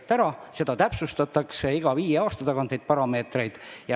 Neid parameetreid täpsustatakse iga viie aasta tagant.